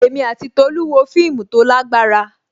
Èmi àti Tolu wo fíìmù tó lágbára.